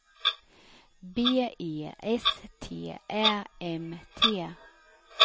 B E S T Ä M T